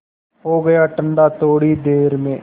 हो गया ठंडा थोडी ही देर में